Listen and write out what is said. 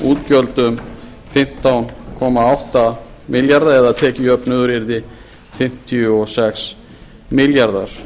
um fimmtán komma átta milljarða eða tekjujöfnuður yrði fimmtíu og sex milljarðar